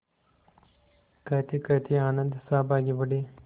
कहतेकहते आनन्द साहब आगे बढ़े